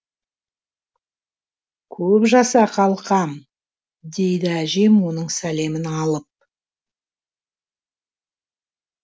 көп жаса қалқам дейді әжем оның сәлемін алып